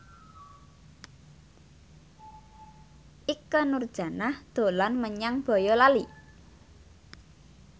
Ikke Nurjanah dolan menyang Boyolali